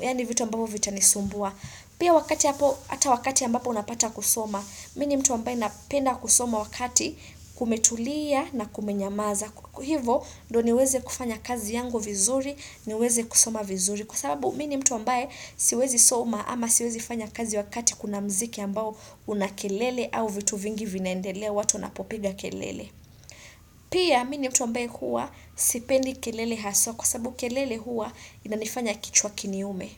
yaani vitu ambavyo vitanisumbua. Pia wakati hapo, hata wakati ambapo unapata kusoma, mi ni mtu ambaye napenda kusoma wakati kumetulia na kumenyamaza. Hivo ndio niweze kufanya kazi yangu vizuri, niweze kusoma vizuri kwa sababu mi ni mtu ambaye siwezi soma ama siwezi fanya kazi wakati kuna mziki ambao una kelele au vitu vingi vinaendelea watu wanapopiga kelele. Pia mimi ni mtu ambaye huwa sipendi kelele haswa kwa sababu kelele huwa inanifanya kichwa kiniume.